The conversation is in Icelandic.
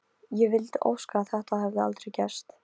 Ég vildi óska að þetta hefði aldrei gerst.